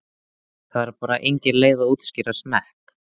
Það er bara engin leið að útskýra smekk.